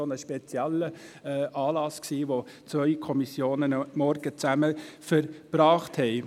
Das war ein eher spezieller Anlass, bei dem zwei Kommissionen einen Morgen zusammen verbrachten.